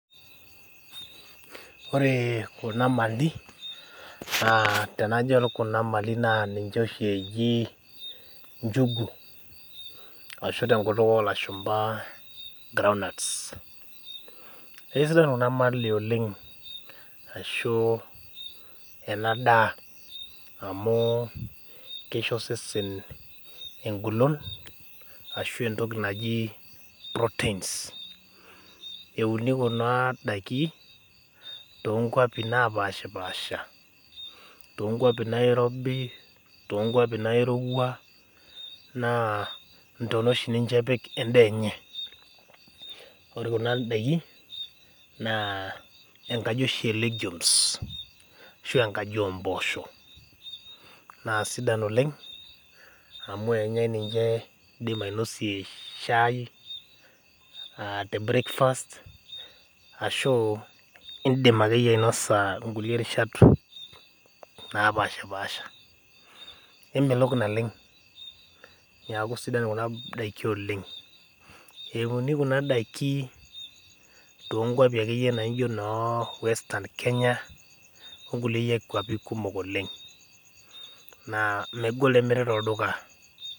Ore kuna mali ,naa tenajo adol kuna mali naa ninche oshi eji nchugu ashu tenkutuk olashumpa groundnuts. naa kisidan Kuna mali oleng ashu ena daa, amu keisho osesen engolon ashu entoki naji proteins .euni kuna daiki tookwapi naapashpaasha, toonkwapi nairobi toonkwapi nairowua naa ntonat oshi epik ninche endaa enye .naa ore oshi kuna daiki naa nkeaji olegumes ashu enkaji oposho .na sidan oleng amu enyae ninche, indim ainosie shai tebreakfast ashu indim akeyie ainosie nkulie rishat naapashpaasha .kemelok naleng neeku sidan kuna daiki oleng. euni Kuna daiki tookwapi akeyie naijo noowestern kenya onkulie kwapi kumok oleng na megol emiri tolduka.